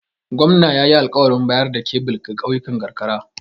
Gwamna ya yi alƙawarin bayar da kebil ga ƙauyukan karkara.